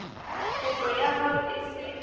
kopo ya hao e se